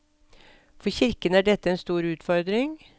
For kirken er dette en stor utfordring.